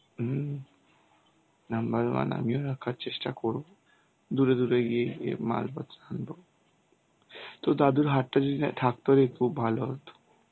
হম number one আমিও রাখার চেষ্টা করব. দূরে দূরে গিয়ে ইয়ে মালপত্র আনবো. তোর দাদুর হাটটা যদি থাকতো না তাহলে ভালো হতো.